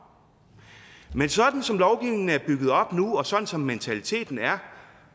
men sådan som lovgivningen er bygget op nu og sådan som mentaliteten er